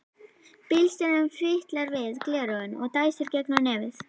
Bílstjórinn fitlar við gleraugun og dæsir í gegnum nefið.